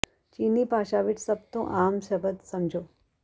ਚੀਨੀ ਭਾਸ਼ਾ ਵਿਚ ਸਭ ਤੋਂ ਵੱਧ ਆਮ ਸ਼ਬਦ ਸਮਝੋ